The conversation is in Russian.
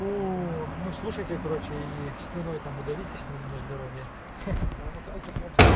ох ну слушайте короче и слюной там подавитесь на на здоровье